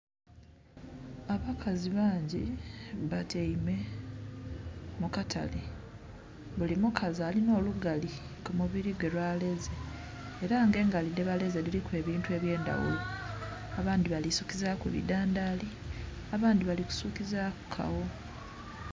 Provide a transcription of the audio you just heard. Abakazi bangi batyaime mu katale, buli mukazi alinha olugali ku mubili gwe lwaleze. Ela nga engali dhebaleze dhiliku ebintu ebyendhaghulo. Abandhi bali kusukizaaku bidhandhaali, abandhi bali kusukizaaku kawo.